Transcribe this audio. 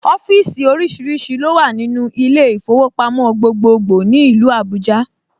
Ọ́fíìsì oríṣiríṣi ló wà nínú ilé ìfowópamọ́ gbogbogbòò ní ìlú Abuja